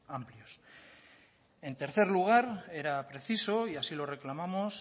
amplios en tercer lugar era preciso y así lo reclamamos